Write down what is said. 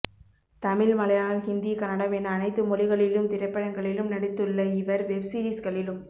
தமிழ் மலையாளம் ஹிந்தி கன்னடம் என அனைத்து மொழிகளிலும் திரைப்படங்களில் நடித்துள்ள இவர் வெப்சீரிஸ்களிலும்